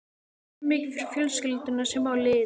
Ég vinn mikið fyrir fjölskylduna sem á liðið.